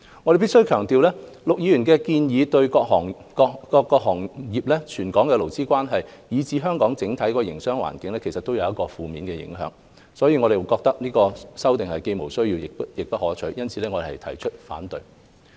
我必須強調，陸議員的建議對各行各業、全港的勞資關係，以至香港的整體營商環境都會有負面影響，所以有關修正案既無需要，亦不可取，因此我們提出反對。